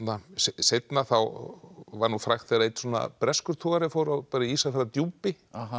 seinna var frægt þegar einn svona breskur togari fór á Ísafjarðardjúpi